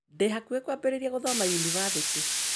Ndĩ hakuhĩ kwambĩrĩria gũthoma yunibacĩtĩ